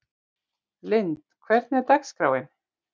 Lynd, hvernig er dagskráin?